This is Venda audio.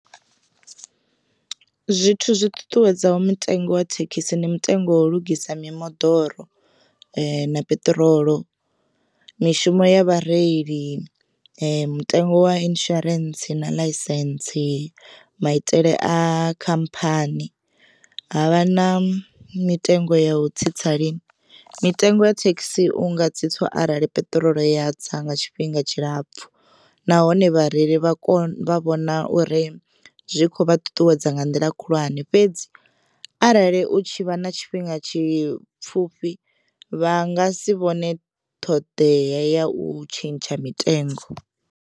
Zwithu zwi ṱuṱuwedzaho mutengo wa thekhisi ndi mutengo wa u lugisa mimoḓoro na peṱirolo, mishumo ya vhareili, mutengo wa insurance na ḽaisentse, maitele a khamphani havha na mitengo ya u tsitsa lini mitengo ya thekhisi unga tsitsiwa arali peṱirolo ya tsa nga tshifhinga tshilapfu. Nahone vhareili vha kone vha vhona uri zwi kho vha ṱuṱuwedza nga nḓila khulwane fhedzi arali u tshi vha na tshifhinga tshi pfhufhi vha nga si vhone ṱhoḓea ya u tshentsha mitengo.